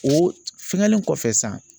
O fɛngɛlen kɔfɛ sisan